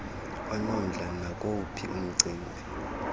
onomdla nakuwuphi umcimbi